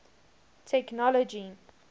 technology